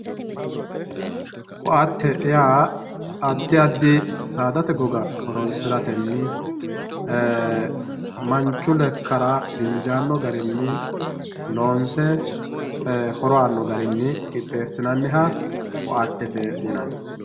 Koate yaa adi adibsaadate goga horonsiratenni manchu lekara injaano garinni loonse horo aano garinni qixxeesinaniha koatete yinanni